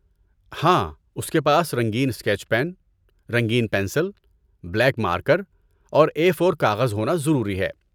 ہاں، اس کے پاس رنگین اسکیچ پین، رنگین پنسل، بلیک مارکر اور اے فور کاغذ ہونا ضروری ہے